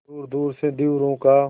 दूरदूर से धीवरों का